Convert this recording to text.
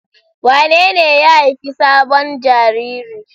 Wanene ya haifi sabon jariri?